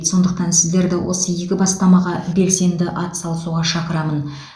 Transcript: сондықтан сіздерді осы игі бастамаға белсенді атсалысуға шақырамын